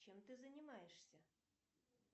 чем ты занимаешься